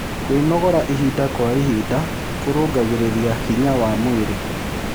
Kwĩnogora ĩhĩda kwa ĩhĩda kũrũngagĩrĩrĩa hinya wa mwĩrĩ